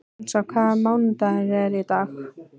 Hansa, hvaða mánaðardagur er í dag?